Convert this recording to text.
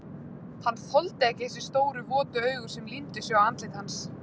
Hann þoldi ekki þessi stóru, votu augu sem límdu sig á andlit hans.